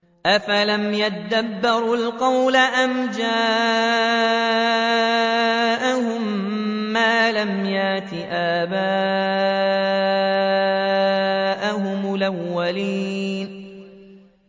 أَفَلَمْ يَدَّبَّرُوا الْقَوْلَ أَمْ جَاءَهُم مَّا لَمْ يَأْتِ آبَاءَهُمُ الْأَوَّلِينَ